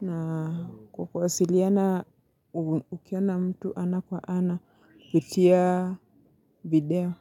na kwa kuwasiliana ukiona mtu ana kwa ana. Kupitia video.